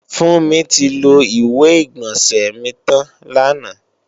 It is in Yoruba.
Fúnmi ti lo ìwé-ìgbọ̀nsẹ̀ mi tàn làná